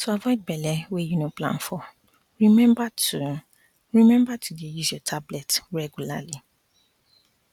to avoid belle wey you no plan for remember to remember to dey use your tablet regualrly